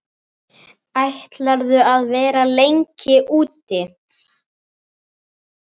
Ætlarðu að vera lengi úti?